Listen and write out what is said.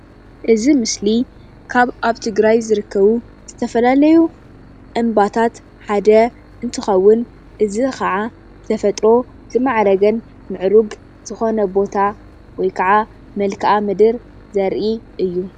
እዚ ምስሊ ካብ ኣብ ትግርይ ዝርከቡ ዝተፈላለዩ እምባታት ሓደ እንትኸውን እዚ ኸዓ ብተፈጥሮ ዝማዕረገን ምዕሩግ ዝኾነ ቦታ ወይ ክዓ መልክኣ ምድሪ ዘርኢ እዩ፡፡